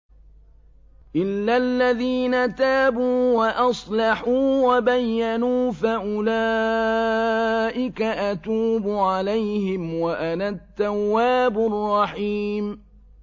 إِلَّا الَّذِينَ تَابُوا وَأَصْلَحُوا وَبَيَّنُوا فَأُولَٰئِكَ أَتُوبُ عَلَيْهِمْ ۚ وَأَنَا التَّوَّابُ الرَّحِيمُ